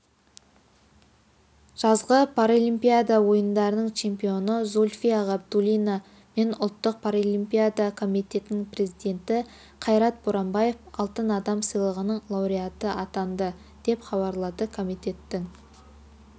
жазғы паралимпиада ойындарының чемпионы зульфия ғабдуллина мен ұлттық паралимпиада комитетінің президенті қайрат боранбаев алтын адам сыйлығының лауреаттары атанды деп хабарлады комитеттің